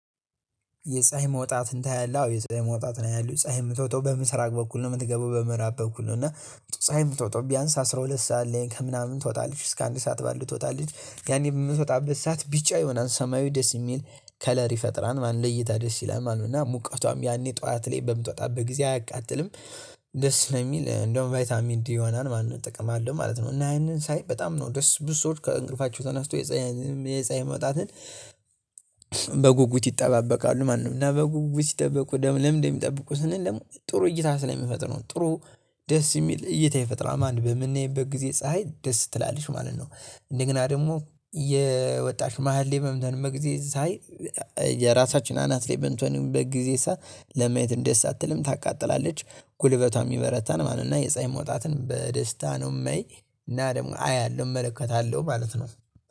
የፀሀይ መውጣት ይታየላ አዎ የፀሀይ መውጣት ነው ያለው ፀሀይ የምትወጣው በምስራቅ በኩል ነው የምትገባው በምዕራብ በኩል ነው። እና ፀሀይ የምትወጣው ቢያንስ አስራ ሁለት ሰዓት ላይ ከምናምን ትወጣለች እስከ አንድ ሰዓት ባሉ ትወጣለች ያኔ በምትወጣበት ሰዓት ቢጫ ይሆናል ሰማያዊ ደስ የሚል ከለር ይፈጥራል ማለትንጠ ለእይታ ደስ ይላል ማለት ነው። እና ሙቀቷም ያኔ ጠዋት ላይ በምትወጣ በጊዜ አያቃጥልም። ደስ ነው የሚል እንደውም ቫይታሚን ዲ ይሆናል ማለት ነው እጠቀማለሁ ማለት ነው። እና ያንን ሳይ በጣም ነው ደስ ብዙ ሰዎች ከእንቅልፋቸው ተነስተው የጸዓይ መውጣትን ይጠባበቃሉ ማለት ነው። እና በጉጉት ስጠብቁ ደግሞ ለምን እንደሚጠብቁ ስንል ደግሞ ጥሩ እይታ ስለሚፈጥሩ ጥሩ ደስ የሚል እይታ ይፈጥራል ማለት ነው። በምንአነይበት ጊዜ ፀሀይ ደስ ትላለች ማለት ነው። እንደገና ደግሞ እየወጣች መሃል ላይ መምተን መግዜ ሳይ። የራሳችን አናት ላይ በንቶኒዮን በጊዜሳ ለማየት እንደሳትልም ታቃጥላለች ጉልበቷን የሚበረታን ማለት ነው። እና የፀኝ መውጣትን በደስታ ነው የሚይ። እና ደግሞ አያለሁ እመለከታለሁ ማለት ነው።